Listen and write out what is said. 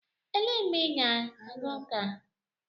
Elee mgbe ị ga-aga ụka?